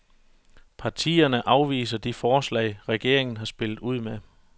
Partierne afviser de forslag, regeringen har spillet ud med.